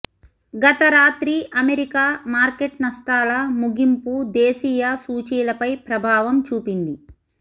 గతరాత్రి America market నష్టాల ముగింపు దేశీయ సూచీలపై ప్రభావం చూపింది